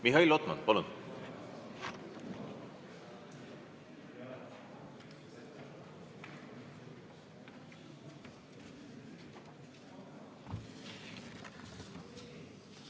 Mihhail Lotman, palun!